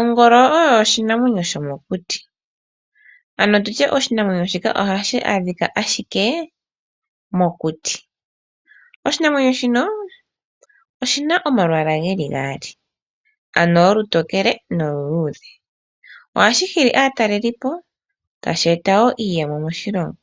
Ongolo oyo oshinamwenyo sho mokuti .Ano oshinamwenyo shika ohashi adhika ashike mokuti .Oshinamwenyo shino oshina omalwaala geli gaali shina olutokele noluludhe. Ohashi nana aatalelipo tashi eta woo iiyemo moshilongo.